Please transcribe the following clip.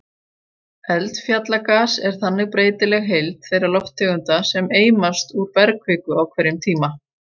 Eldfjallagas er þannig breytileg heild þeirra lofttegunda sem eimast úr bergkviku á hverjum tíma.